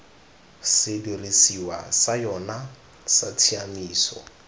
sedirisiwa sa yona sa tshiaimiso